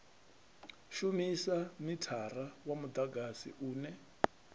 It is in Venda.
shumisa mithara wa mudagasi une